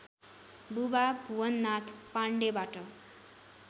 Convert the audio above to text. बुबा भुवननाथ पाण्डेबाट